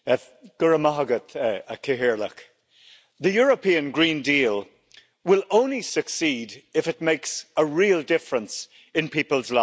Madam President, the European Green Deal will only succeed if it makes a real difference in people's lives.